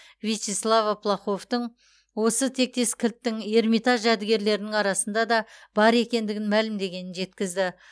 вячеслова плаховтың осы тектес кілттің эрмитаж жәдігерлерінің арасында да бар екендігін мәлімдегенін жеткізді